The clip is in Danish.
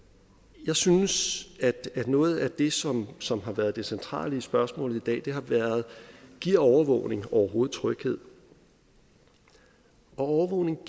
jeg synes at noget af det som som har været det centrale i spørgsmålet i dag har været giver overvågning overhovedet tryghed og overvågning